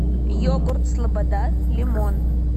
йогурт слобода лимон